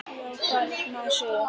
Já, hvað vill maður segja?